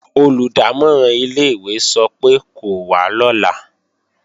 Olùdámọ̀ràn ilé-ìwé sọ pé kó wá lọ́la